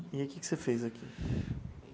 E aí o que que você fez aqui?